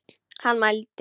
Hann mælti.